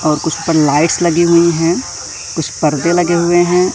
और कुछ पर लाइट्स लगी हुई हैं कुछ पर्दे लगे हुए हैं।